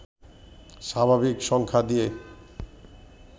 স্বাভাবিক সংখ্যা দিয়ে